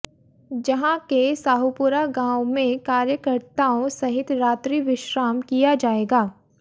जहां के साहूपुरा गांव में कार्यकर्ताओं सहित रात्रि विश्राम किया जाएगा